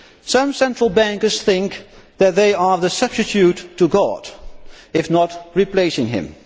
Some Central Bankers think that they are a substitute for God, if not yet replacing him.